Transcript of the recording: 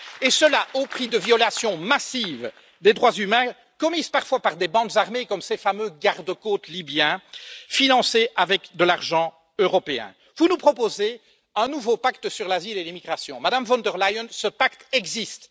Et cela au prix de violations massives des droits humains, commises parfois par des bandes armées comme ces fameux gardes côtes libyens, financés avec de l'argent européen. Vous nous proposez un nouveau pacte sur l'asile et les migrations. Madame von der Leyen, ce pacte existe.